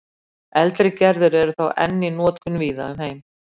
Eldri gerðir eru þó enn í notkun víða um heim.